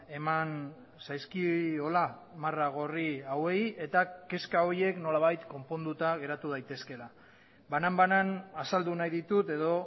eman zaizkiola marra gorri hauei eta kezka horiek nolabait konponduta geratu daitezkeela banan banan azaldu nahi ditut edo